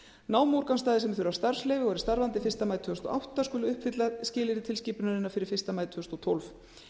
námuúrgangsstaðir sem þurfa starfsleyfi og eru starfandi fyrsta maí tvö þúsund og átta skulu uppfylla skilyrði tilskipunarinnar fyrir fyrsta maí tvö þúsund og tólf